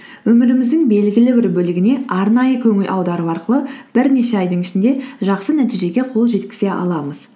өміріміздің белгілі бір бөлігіне арнайы көңіл аудару арқылы бірнеше айдың ішінде жақсы нәтижеге қол жеткізе аламыз